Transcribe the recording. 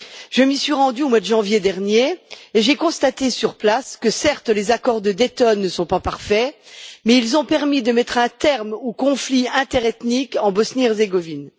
Je m'y suis rendue au mois de janvier dernier et j'ai constaté sur place que, certes, les accords de Dayton ne sont pas parfaits, mais ils ont permis de mettre un terme au conflit interethnique en Bosnie Herzégovine.